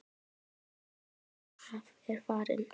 Elsku afi Þorkell er farinn.